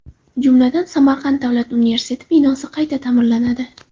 Jumladan, Samarqand davlat universiteti binosi qayta ta’mirlanadi.